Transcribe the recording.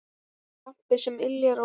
Lampi sem yljar og vermir.